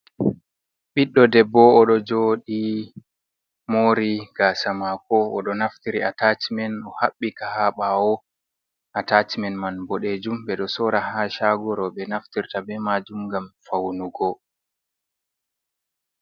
Biɗɗo ɗebbo oɗo joɗi mori gasa mako. Oɗo naftiri atacimen o habbika ha bawo. Atacimen man bo ɗejum. Beɗo sora ha shago robe naftirta be majum ngam faunugo.